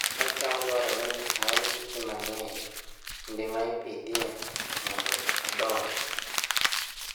Kodhi mar cham dwarore ni oolne pi mang'eny e kinde ma iPidhoe mondo odongi